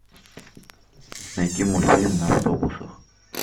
найти мультфильм на автобусах